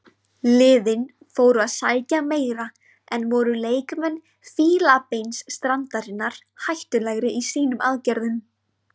Liðin fóru að sækja meira en voru leikmenn Fílabeinsstrandarinnar hættulegri í sínum aðgerðum.